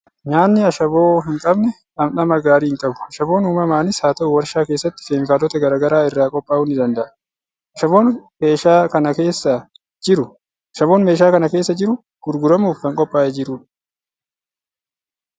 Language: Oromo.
Nyaatni ashaboo hin qabne dhamdhama gaarii hin qabu! Ashaboon uumamaanis haa ta'u, waarshaa keessatti keemikaalota garaa garaa irraa qophaa'uu ni danda'a. Ashaboon keeshaa kana keessa jiru, gurguramuuf kan qophaa'ee jirudha.